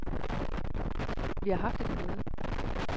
Vi har haft et møde.